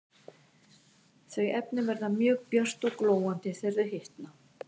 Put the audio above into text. Þau efni verða mjög björt og glóandi þegar þau hitna.